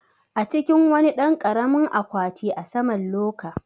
A cikin wani ɗan karamin akwati a saman loka